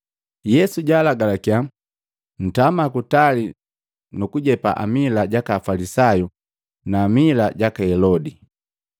Yesu jaalagalakya, “Ntama kutali nu kujepa amila jaka Afalisayu na amila jaka Helodi.”